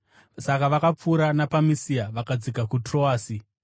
Saka vakapfuura napaMisia vakadzika kuTroasi.